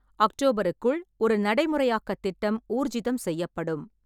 அக்டோபருக்குள் ஒரு நடைமுறையாக்கத் திட்டம் ஊர்ஜிதம் செய்யப்படும்.